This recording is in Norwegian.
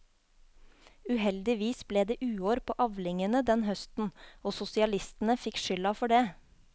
Uheldigvis ble det uår på avlingene den høsten, og sosialistene fikk skylda for det.